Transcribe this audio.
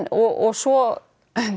og svo